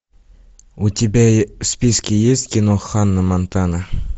у тебя в списке есть кино ханна монтана